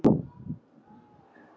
Páll hrífst af ávöxtum jarðar.